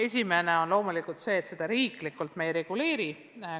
Riiklikult me seda olukorda loomulikult ei reguleeri.